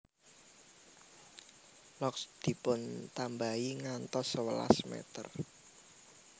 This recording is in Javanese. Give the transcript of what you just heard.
Locks dipuntambahi ngantos sewelas meter